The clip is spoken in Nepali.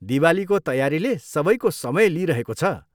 दिवालीको तयारीले सबैको समय लिइरहेको छ।